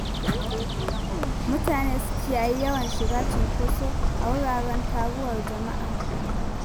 Mutane su kiyayi yawan shiga cunkoso a wuraren taruwar jama'a.